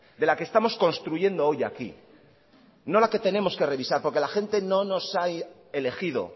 de la que estamos construyendo hoy aquí no la que tenemos que revisar porque la gente no nos ha elegido